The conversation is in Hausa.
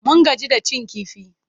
Mun gaji da cin kifi.